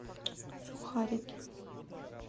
сухарики